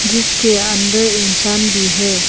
जिसके अंदर इंसान भी है।